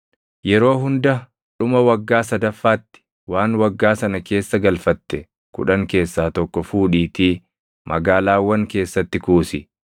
Yeroo hunda dhuma waggaa sadaffaatti waan waggaa sana keessa galfatte kudhan keessaa tokko fuudhiitii magaalaawwan keessatti kuusi.